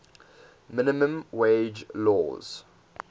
minimum wage laws